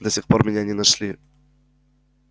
до сих пор меня не нашли